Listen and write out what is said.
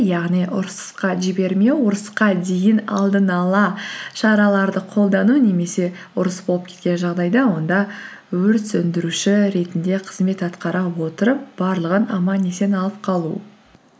яғни ұрысысқа жібермеу ұрысқа дейін алдын ала шараларды қолдану немесе ұрыс болып кеткен жағдайда онда өрт сөндіруші ретінде қызмет атқара отырып барлығын аман есен алып қалу